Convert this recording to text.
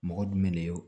Mɔgɔ jumɛn de ye o